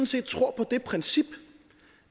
set tror på det princip